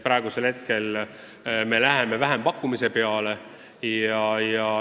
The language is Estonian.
Praegu me läheme vähempakkumise peale.